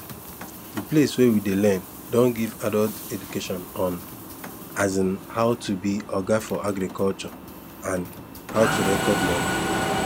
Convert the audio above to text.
the place wey we dey learn don give adult education on um how to be oga for agriculture and how to record money